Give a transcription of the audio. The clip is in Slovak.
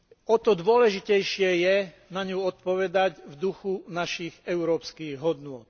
O to dôležitejšie je na ňu odpovedať v duchu našich európskych hodnôt.